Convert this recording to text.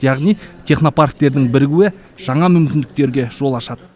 яғни технопарктердің бірігуі жаңа мүмкіндіктерге жол ашады